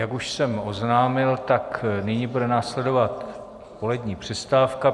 Jak už jsem oznámil, tak nyní bude následovat polední přestávka.